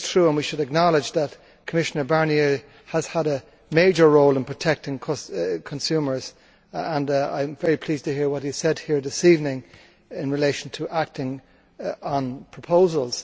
We should acknowledge that Commissioner Barnier has had a major role in protecting consumers and I am very pleased to hear what he said here this evening in relation to acting on proposals.